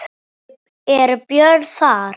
Eru böll þar?